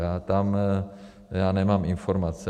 A tam já nemám informace.